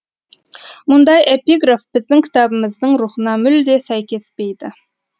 мұндай эпиграф біздің кітабымыздың рухына мүлде сәйкеспейді